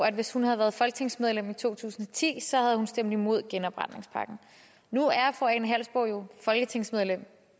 at hvis hun havde været folketingsmedlem i to tusind og ti så havde hun stemt imod genopretningspakken nu er fru ane halsboe jørgensen jo folketingsmedlem